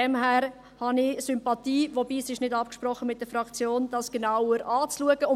Daher habe ich Sympathien dafür, dies genauer anzuschauen, wobei dies mit der Fraktion nicht abgesprochen ist.